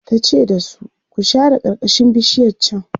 tace da su "ku share karkashin bishiyar chan!"